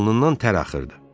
Alnından tər axırdı.